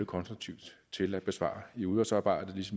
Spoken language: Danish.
konstruktivt til at besvare i udvalgsarbejdet